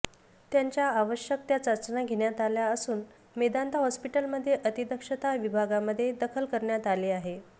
त्यांच्या आवश्यक त्या चाचण्या घेण्यात आल्या असून मेदांता हॉस्पिटलमध्ये अतिदक्षता विभागामध्ये दाखल करण्यात आले आहे